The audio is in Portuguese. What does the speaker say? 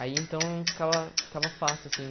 Aí então ficava ficava fácil, assim.